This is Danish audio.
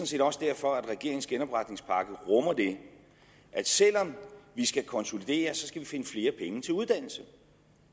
set også derfor at regeringens genopretningspakke rummer at selv om vi skal konsolidere skal vi finde flere penge til uddannelse